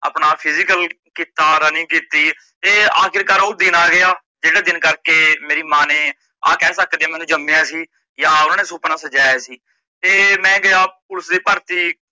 ਆਪਣਾ physical ਕੀਤਾ running ਤੇ ਆਖੀਰਕਾਰ ਓਹ ਦਿਨ ਆ ਗਿਆ, ਜੇੜੇ ਦਿਨ ਕਰਕੇ ਮੇਰੀ ਮਾਂ ਨੇ ਆ ਕਿਹ ਸਕਦੇ ਮੈਂਨੂੰ ਜਮੀਆ ਸੀ, ਜਾ ਉਨਾਂ ਨੇ ਸੁਪਨਾ ਸਜਾਇਆ ਸੀ।